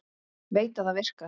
Veit að það virkar.